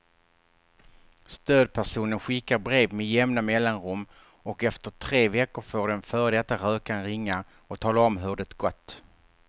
Stödpersonen skickar brev med jämna mellanrum och efter tre veckor får den före detta rökaren ringa och tala om hur det gått.